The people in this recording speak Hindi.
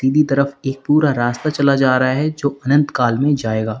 की तरफ एक पूरा रास्ता चला जा रहा है जो अनंत काल में जाएगा।